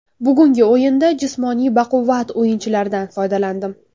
Bugungi o‘yinda jismoniy baquvvat o‘yinchilardan foydalandim.